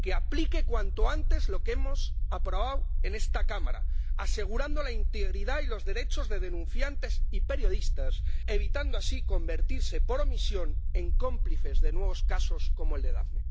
que aplique cuanto antes lo que hemos aprobado en esta Cámara, asegurando la integridad y los derechos de denunciantes y periodistas, evitando así convertirse por omisión en cómplices de nuevos casos como el de Daphne.